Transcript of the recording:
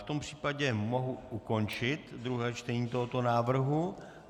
V tom případě mohu ukončit druhé čtení tohoto návrhu.